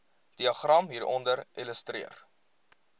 diagram hieronder illustreer